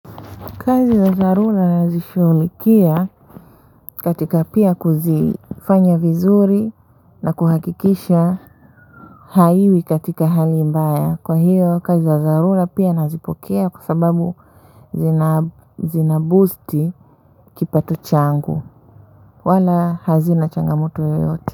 Kazi za dharura nazishughulikia katika pia kuzifanya vizuri na kuhakikisha haiwi katika hali mbaya kwa hiyo kazi za dharura pia nazipokea kwa sababu zina zina boosti kipato changu wala hazina changamoto yoyote.